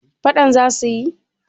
fadan za su yi